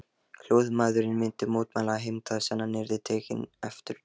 Hljóðmaðurinn myndi mótmæla og heimta að senan yrði tekin aftur.